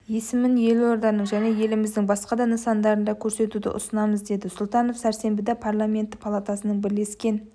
есімін елорданың және еліміздің басқа да нысандарында көрсетуді ұсынамыз деді сұлтанов сәрсенбіде парламенті палатасының бірлескен